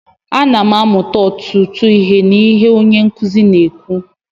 Ana m amụta ọtụtụ ihe n'ihe onye nkuzi na-ekwu